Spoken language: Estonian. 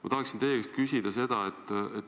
Ma tahan teie käest küsida seda.